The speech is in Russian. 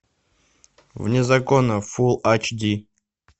вне закона фул ач ди